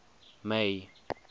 may